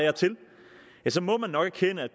må man nok erkende